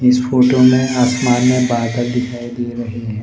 इस फोटो में आसमान में बादल दिखाई दे रहे हैं।